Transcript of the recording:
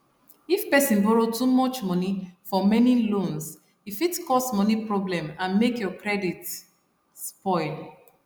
if person borrow too much money for many loans e fit cause money problem and make your credit spoil